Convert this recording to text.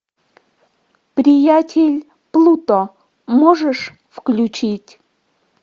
приятель плуто можешь включить